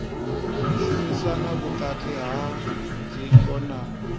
shumisana vhukati ha dzingo na